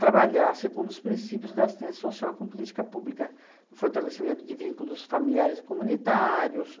trabalhar segundo os princípios da assistência social com política pública, fortalecimento de vínculos familiares e comunitários.